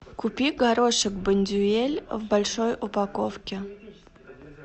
купи горошек бондюэль в большой упаковке